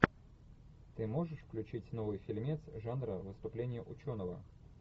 ты можешь включить новый фильмец жанра выступление ученого